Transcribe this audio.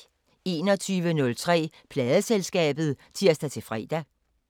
21:03: Pladeselskabet (tir-fre)